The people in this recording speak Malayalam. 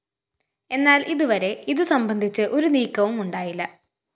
എന്നാല്‍ ഇതുവരെ ഇതു സംബന്ധിച്ച് ഒരു നീക്കവുമുണ്ടായില്ല